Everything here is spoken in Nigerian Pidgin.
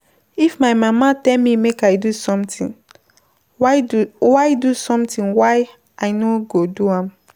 If my mama tell me make I do something why do something why I no go do am?